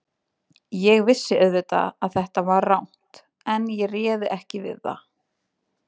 Ég vissi auðvitað að þetta var rangt, en ég réði ekki við það.